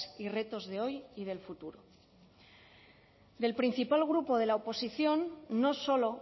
y retos de hoy y del futuro del principal grupo de la oposición no solo